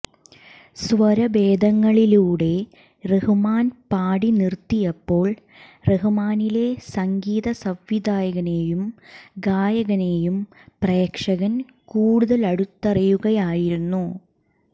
സ്വരഭേദങ്ങളിലൂടെ റഹ്മാൻ പാടി നിർത്തിയപ്പോൾ റഹ്മാനിലെ സംഗീത സംവിധായകനേയും ഗായകനേയും പ്രേക്ഷകൻ കൂടുതലടുത്തറിയുകയായിരുന്നു